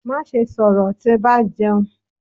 Maṣe sọrọ ti ba jẹun!